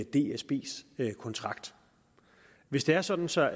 dsbs kontrakt hvis det er sådan så